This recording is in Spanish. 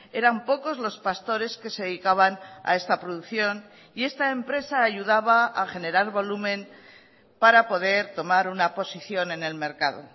eran pocos los pastores que se dedicaban a esta producción y esta empresa ayudaba a generar volumen para poder tomar una posición en el mercado